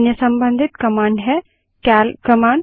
अन्य संबंधित कमांड है सीएल कमांड